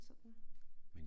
Sådan